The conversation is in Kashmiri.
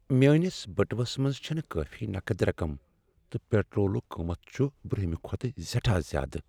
میٲنس بٹوس منٛز چھنہٕ کٲفی نقد رقم تہٕ پٹرولُک قۭمتھ چُھ برٗونہِمہِ كھۄتہٕ سیٹھاہ زیادٕ ۔